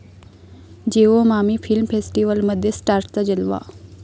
Jio MAMI film फेस्टिवलमध्ये स्टार्सचा जलवा